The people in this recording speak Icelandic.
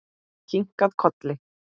Kinkað kolli.